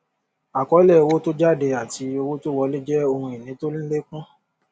àkọólè owó tó jáde àti owó tó wọlé jẹ ohun ìní tó ń lékún